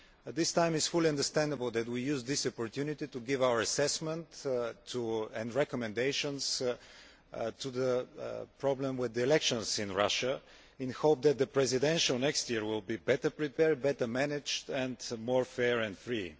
This time it is fully understandable that we use this opportunity to give our assessment of and recommendations concerning the problem with the elections in Russia. We hope that the presidential election next year will be better prepared, better managed and more fair and free.